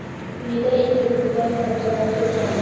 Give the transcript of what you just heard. Quyida intervyudan parchalar keltiramiz.